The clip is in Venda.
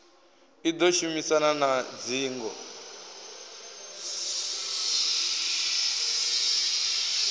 i ḓo shumisana na dzingo